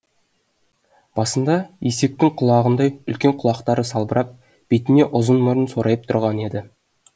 басында есектің құлағындай үлкен құлақтары салбырап бетіне ұзын мұрын сорайып тұрған еді